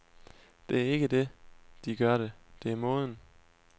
Det er ikke det, de gør det, det er måden.